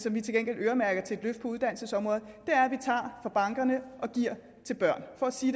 at vi til gengæld øremærker penge til et løft på uddannelsesområdet vi tager fra bankerne og giver til børnene for at sige